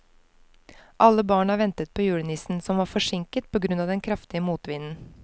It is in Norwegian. Alle barna ventet på julenissen, som var forsinket på grunn av den kraftige motvinden.